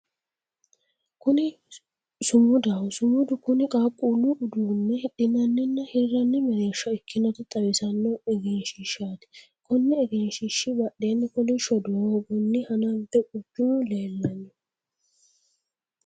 Kuni sumudaho, sumudu kuni qaaqquullu uduunne hidhinanninna hirranni mereersha ikkinota xawissanno egensiishshaati. Konni egensiishshi badheenni kolishsho doogonni hanafe quchumu leellanno.